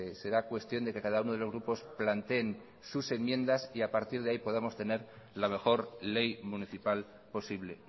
será cuestión de que cada uno de los grupos planteen sus enmiendas y a partir de ahí podamos tener la mejor ley municipal posible